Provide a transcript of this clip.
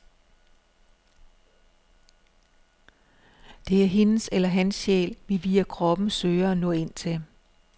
Det er hendes eller hans sjæl, vi via kroppen søger at nå ind til.